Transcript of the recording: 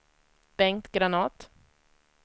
Bengt Granath